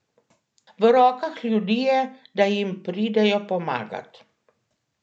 V rokah ljudi je, da jim pridejo pomagat.